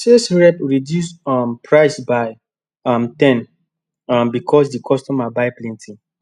sales rep reduce um price by um ten um because the customer buy plenty